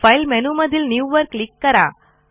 file मेनूमधील new वर click करा